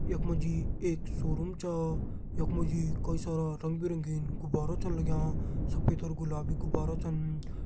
यख मा जी एक शोरूम छ यख मा जी कई सारा रंग बिरंगीन गुब्बारां छन लग्यां सफ़ेद और गुलाबी गुब्बारा छन।